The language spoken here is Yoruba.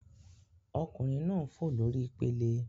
Ọkunrin naa n fo lori ipele